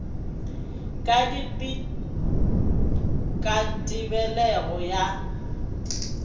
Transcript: ka dipit ka tebelego ya